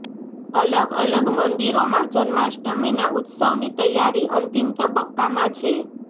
અલગ અલગ મંદિરોમાં જન્માષ્ટમીના ઉત્સવની તૈયારી અંતિમ તબક્કામાં છે